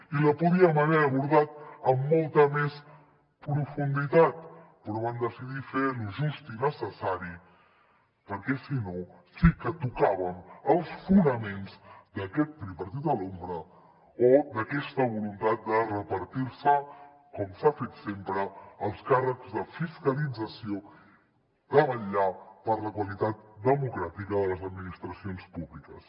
i la podíem haver abordat amb molta més profunditat però van decidir fer lo just i necessari perquè si no sí que tocàvem els fonaments d’aquest tripartit a l’ombra o d’aquesta voluntat de repartir se com s’ha fet sempre els càrrecs de fiscalització de vetllar per la qualitat democràtica de les administracions públiques